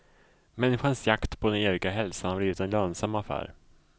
Människans jakt på den eviga hälsan har blivit en lönsam affär.